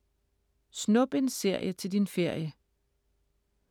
Snup en serie til din ferie